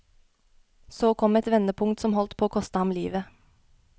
Så kom et vendepunkt som holdt på å koste han livet.